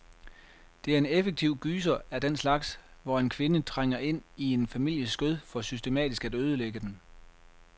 Det er en effektiv gyser af den slags, hvor en kvinde trænger ind i en families skød for systematisk at ødelægge den.